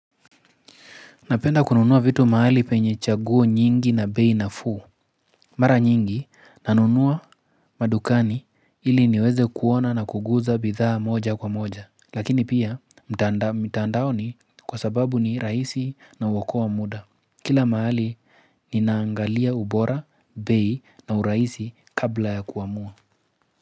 Napenda kununua vitu maali penye chaguo nyingi na bei nafuu. Mara nyingi nanunuwa madukani ili niweze kuona na kuguza bidhaa moja kwa moja. Lakini pia mtaandaoni kwa sababu ni raisi na uwakoa muda. Kila maali ninaangalia ubora, bei na uraisi kabla ya kuamua.